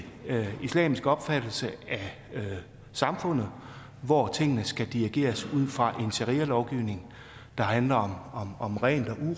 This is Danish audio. islamisk opfattelse af samfundet hvor tingene skal dirigeres ud fra en sharialovgivning der handler om rent